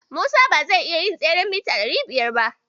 Musa ba zai iya yin tseren mita ɗari biyar ba.